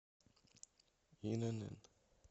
инн